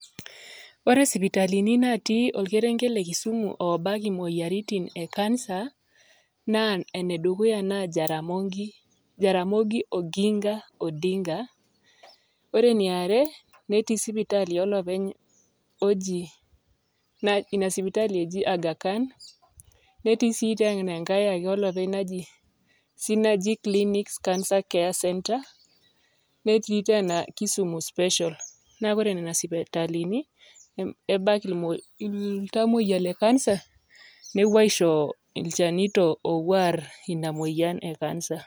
Ore isipatilini natii olkerenket le Kisumu oobak imoyiaritin e kansa naa enedukuya; jaramogi oginga odinga, ore eniare netii sipitali olopeny ina sipitali eji agakan, netii sii enkae ake olopeny synagic clinic cancer care center netii tena Kisumu special naa ore nena sipitalini ebak iltoyia le kansa nepuo aisho ilchanito leina moyian e kansa.